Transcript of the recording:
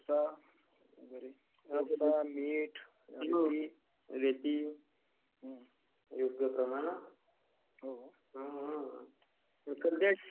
is not clear मीठ, रेती.... is not clear